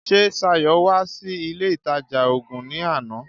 Ṣé Ṣayọ̀ wá sí ilé ìtajà oògun ní àná?